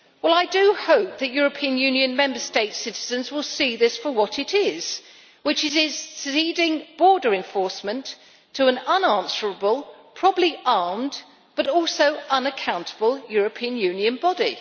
I do hope that European Union Member States' citizens will see this for what it is, which is ceding border enforcement to an unanswerable, probably armed, but also unaccountable European Union body.